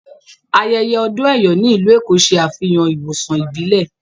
Ayẹyẹ odún Eyò ni ilù Ékó ṣẹ afihàn ìwosàn ìbílẹ̀.